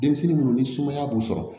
Denmisɛnnin munnu ni sumaya b'u sɔrɔ